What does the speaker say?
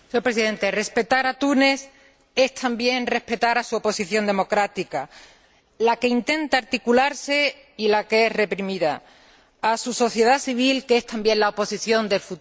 Respetar a Túnez es también respetar a su oposición democrática, la que intenta articularse y la que es reprimida, a su sociedad civil, que es también la oposición del futuro.